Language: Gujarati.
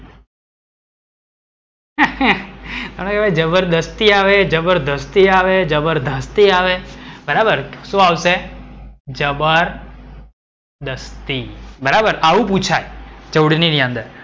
અવે જબરજસ્તી આવે જબરધસ્તી આવે જબર ધાસ્તી આવે બરાબર શું આવશે? જબર દસતી, બરાબર. આવું પૂછાય જોડણી ની અંદર.